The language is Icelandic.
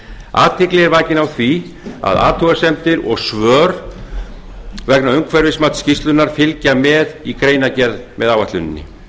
athygli er vakin á því að athugasemdir og svör vegna umhverfismats skýrslunnar fylgja með í greinargerð með áætluninni